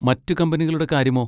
മറ്റ് കമ്പനികളുടെ കാര്യമോ?